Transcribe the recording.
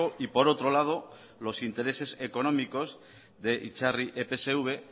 y por otro lado los intereses económicos de itzarri epsv